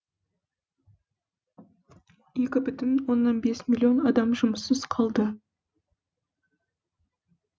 екі бүтін оннан бес миллион адам жұмыссыз қалды